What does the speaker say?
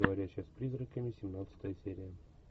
говорящая с призраками семнадцатая серия